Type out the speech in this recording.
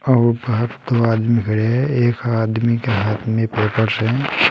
और बाहर दो आदमी खड़े है। एक आदमी के हाथ में फोटोस हैं।